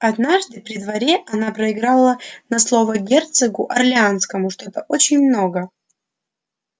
однажды при дворе она проиграла на слово герцогу орлеанскому что-то очень много